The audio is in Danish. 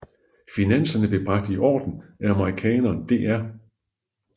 Finanserne blev bragt i orden af amerikaneren dr